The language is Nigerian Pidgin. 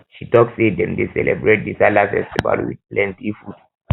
she tok sey dem dey celebrate di sallah festival wit plenty food